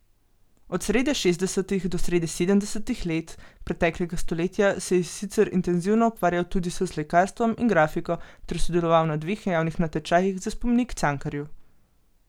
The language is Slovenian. Od srede šestdesetih do srede sedemdesetih let preteklega stoletja se je sicer intenzivno ukvarjal tudi s slikarstvom in grafiko ter sodeloval na dveh javnih natečajih za spomenik Cankarju.